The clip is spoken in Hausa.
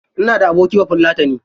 Ina da abokin bafulatani.